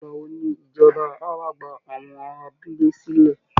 Ìgbà wo ni ìjọba á wà gba àwọn ará abúlé sílẹ̀?